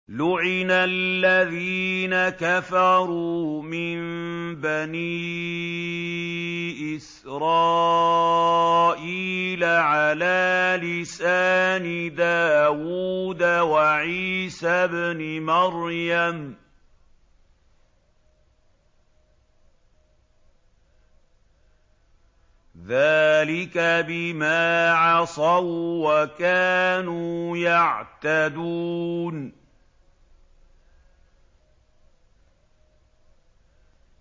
لُعِنَ الَّذِينَ كَفَرُوا مِن بَنِي إِسْرَائِيلَ عَلَىٰ لِسَانِ دَاوُودَ وَعِيسَى ابْنِ مَرْيَمَ ۚ ذَٰلِكَ بِمَا عَصَوا وَّكَانُوا يَعْتَدُونَ